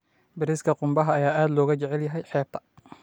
Bariiska qumbaha ayaa aad looga jecel yahay xeebta.